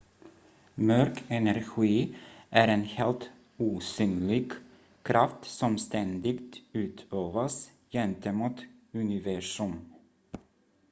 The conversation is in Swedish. mörk energi är en helt osynlig kraft som ständigt utövas gentemot universum